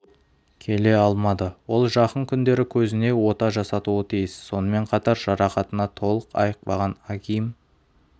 келе алмады ол жақын күндері көзіне ота жасатуы тиіс сонымен қатар жарақатынан толық айықпаған агим